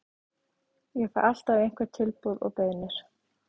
Ég fæ alltaf einhver tilboð og beiðnir.